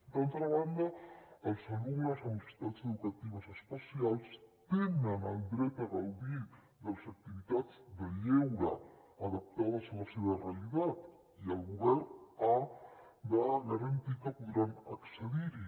d’altra banda els alumnes amb necessitats educatives especials tenen el dret a gaudir de les activitats de lleure adaptades a la seva realitat i el govern ha de garantir que podran accedir hi